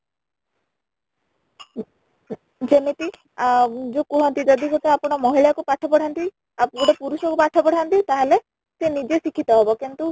ଯେମିତି ଆଂ ଯେ କୁହନ୍ତି ଯଦି ଗୋଟେ ଆପଣ ମହିଳା କୁ ପାଠ ପଢାନ୍ତି ଆଉ ଗୋଟେ ପୁରୁଷ କୁ ପାଠ ପଢାନ୍ତି ତାହେଲେ ସେ ନିଜେ ଶିକ୍ଷିତ ହେବ କିନ୍ତୁ